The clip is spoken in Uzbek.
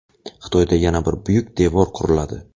Xitoyda yana bir "Buyuk devor" quriladi.